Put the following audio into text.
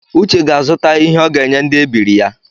Uche ga-azụta ihe ọ ga-enye ndi ebiri ya